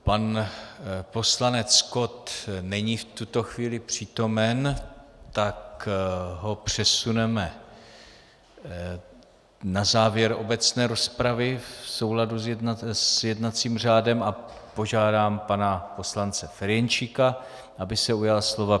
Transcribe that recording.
Pan poslanec Kott není v tuto chvíli přítomen, tak ho přesuneme na závěr obecné rozpravy v souladu s jednacím řádem a požádám pana poslance Ferjenčíka, aby se ujal slova.